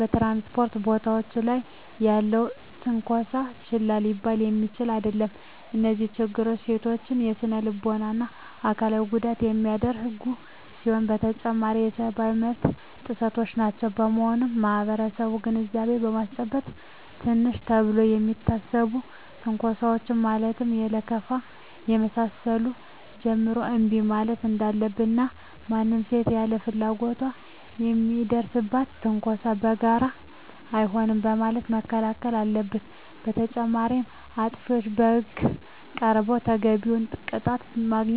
በ ትራንስፖርት ቦታወች ላይ ያለም ትነኮሳ ችላ ሊባል የሚችል አደለም። እነዚህ ችግሮች ሴቶችን ለስነልቦና እና አካላዊ ጉዳት የሚዳርጉ ሲሆኑ በተጨማሪም የሰብአዊ መብት ጥሰቶችም ናቸው። በመሆኑም ማህበረሰቡን ግንዛቤ በማስጨበጥ ትንንሽ ተብለው ከሚታሰቡ ትንኮሳወች ማለትም ከለከፋ ከመሳሰሉት ጀምሮ እንቢ ማለት እንዳለበት እና ማንም ሴት ያለ ፍላጎቷ ለሚደርስባት ትንኮሳ በጋራ አይሆንም በማለት መከላከል አለበት። በተጨማሪም አጥፊዎች ለህግ ቀርበው ተገቢውን ቅጣት በማግኘት መማሪያ መሆን አለባቸው።